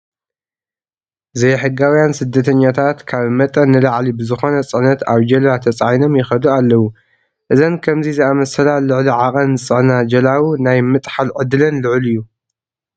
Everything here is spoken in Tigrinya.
ዝይሕጋውያን ስደተኛታት ካብ መጠን ንላዕሊ ብዝኾነ ፅዕነት ኣብ ጀልባ ተፃዒኖም ይኸዱ ኣለዉ፡፡ እዘን ከምዚ ዝኣምሰላ ልዕሊ ዕድቅ ዝፅዕና ጀላቡ ናይ ምጥሓል ዕድለን ልዑል እዩ፡፡